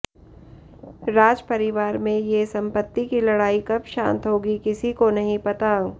राज परिवार में ये संपत्ति की लड़ाई कब शांत होगी किसी को नहीं पता